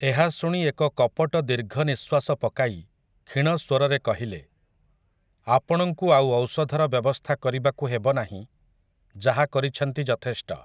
ଏହା ଶୁଣି ଏକ କପଟ ଦୀର୍ଘ ନିଃଶ୍ୱାସ ପକାଇ କ୍ଷୀଣ ସ୍ୱରରେ କହିଲେ, ଆପଣଙ୍କୁ ଆଉ ଔଷଧର ବ୍ୟବସ୍ଥା କରିବାକୁ ହେବ ନାହିଁ ଯାହା କରିଛନ୍ତି ଯଥେଷ୍ଟ ।